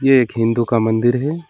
ये एक हिंदू का मंदिर है।